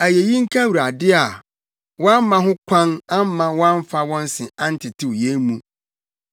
Ayeyi nka Awurade a wamma ho kwan amma wɔamfa wɔn se antetew yɛn mu.